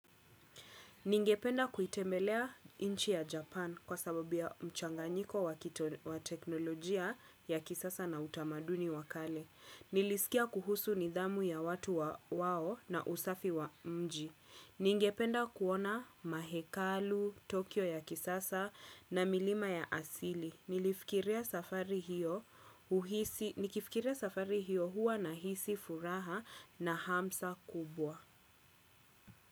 Ningependa kuitembelea nchi ya Japan kwa sababuya mchanganyiko wa teknolojia ya kisasa na utamaduni wakale. Nilisikia kuhusu nidhamu ya watu wao na usafi wa mji. Ningependa kuona mahekalu, Tokyo ya kisasa na milima ya asili. Nikifikiria safari hiyo huwa na hisi furaha na hamsa kubwa.